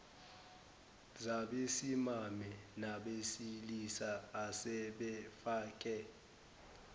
zabesimame nabesilisa asebefake